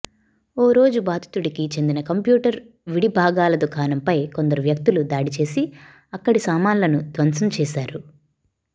ఓ రోజు బాధితుడికి చెందిన కంప్యూటర్ విడిభాగాల దుకాణంపై కొందరు వ్యక్తులు దాడి చేసి అక్కడి సామాన్లను ధ్వంసం చేశారు